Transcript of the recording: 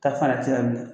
Ta fana tila